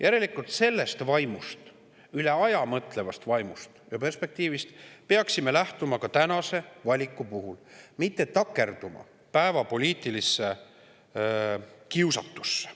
Järelikult, sellest vaimust, üle aja mõtlevast vaimust ja perspektiivist peaksime lähtuma ka tänase valiku puhul ja mitte takerduma päevapoliitilisse kiusatusse.